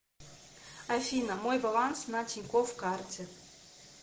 афина мой баланс на тинькофф карте